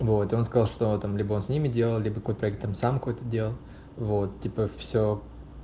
вот он сказал что там либо с ними делали по проектам самку это делал вот теперь все